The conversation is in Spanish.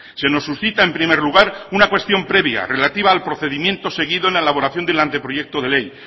se nos suscita en primer lugar una cuestión previa relativa al procedimiento seguido en la elaboración del anteproyecto de ley